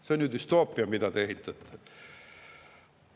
See on ju düstoopia, mida te ehitate!